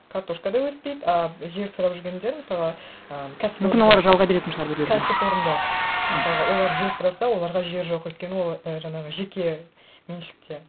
картошка да өспейді ы жер сұрап жүргендер мысалға і мүмкін олар жалға беретін шығар біреулерге кәсіпорындар мысалға олар жер сұраса оларға жер жоқ өйткені ол і жаңағы жекеменшікте